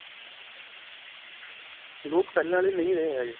ਲੋਕ ਪਹਿਲਾਂ ਵਾਲੇ ਨਹੀ ਰਹੇ ਹੈਗੇ.